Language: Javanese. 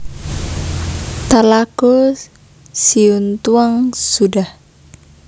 Talago Siuntuang Sudah